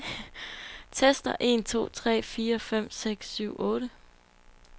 Tester en to tre fire fem seks syv otte.